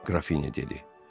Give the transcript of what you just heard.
Qrafinya dedi.